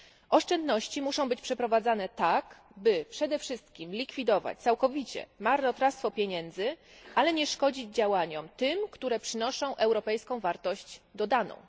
Oszczędności muszą być przeprowadzane tak, by przede wszystkim likwidować całkowicie marnotrawstwo pieniędzy, ale nie szkodzić tym działaniom, które przynoszą europejską wartość dodaną.